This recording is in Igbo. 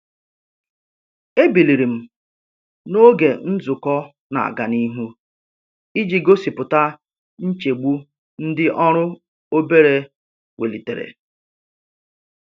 E biliri m n'oge nzukọ n'aga nihu iji gosipụta nchegbu ndị ọrụ obere welitere.